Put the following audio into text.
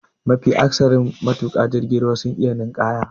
Mafi akasarin matuka jirgin ruwa sun iya ninƙaya.